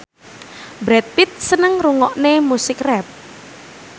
Brad Pitt seneng ngrungokne musik rap